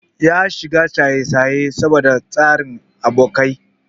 Ya shiga shayeshaye saboda tasirin abokai.